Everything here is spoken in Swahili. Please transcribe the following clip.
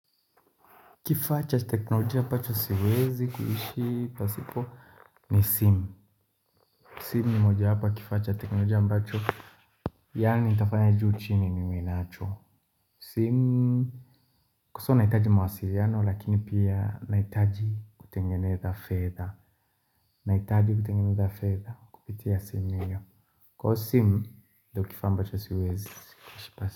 Kifaa cha teknolojia ambacho siwezi kuhishi pasipo ni simu. Simu ni moja wapo ya kifaa cha teknolojia ambacho yaani nitafanya juu chini ni niwe nalo simu, kwanza nahitaji mawasiliano lakini pia nahitaji kutengeneza fedha. Nahitaji kutengeneza fedha kupitia simu hiyo. Kwa hivyo simu ndiyo kifaa ambacho siwezi kuishi pasipo.